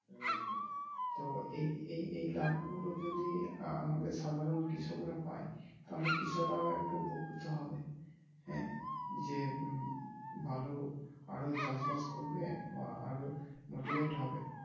তো এই এই এই লাভ গুলো যদি আমাদের সাধারন কৃষকরা পাই তাহলে কৃষকরা একটু উপকৃত হবে । হ্যাঁ যে ভালো আরো চাষবাস করবে বা আরো motivate হবে।